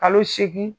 Kalo seegin